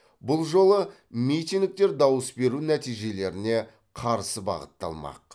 бұл жолы митингтер дауыс беру нәтижелеріне қарсы бағытталмақ